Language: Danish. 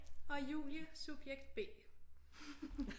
Og Julie subjekt B